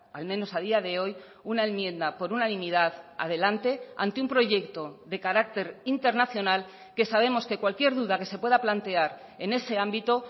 al menos a día de hoy una enmienda por unanimidad adelante ante un proyecto de carácter internacional que sabemos que cualquier duda que se pueda plantear en ese ámbito